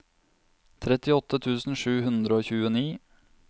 trettiåtte tusen sju hundre og tjueni